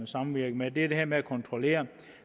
samvirke med det er det her med at kontrollere